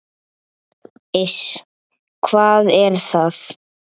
Iss, hvað er það?